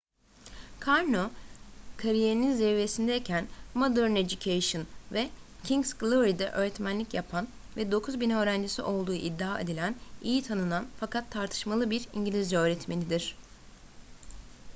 karno kariyerinin zirvesindeyken modern education ve king's glory’de öğretmenlik yapan ve 9.000 öğrencisi olduğu iddia edilen iyi tanınan fakat tartışmalı bir i̇ngilizce öğretmenidir